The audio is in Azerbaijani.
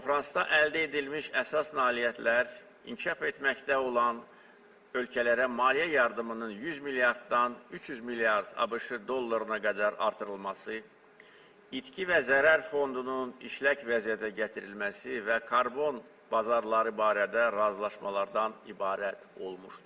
Konfransda əldə edilmiş əsas nailiyyətlər inkişaf etməkdə olan ölkələrə maliyyə yardımının 100 milyarddan 300 milyard ABŞ dollarına qədər artırılması, itki və zərər fondunun işlək vəziyyətə gətirilməsi və karbon bazarları barədə razılaşmalardan ibarət olmuşdur.